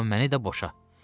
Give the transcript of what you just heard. Amma məni də boşa.